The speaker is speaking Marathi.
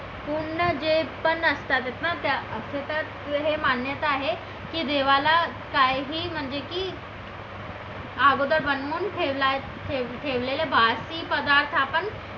पूर्ण जे पण असतात ना असे तर ते हे मान्यता आहे की देवाला काहीही म्हणजे की अगोदर बनवून ठेवला आहे ठेवलेले बासी पदार्थ आपण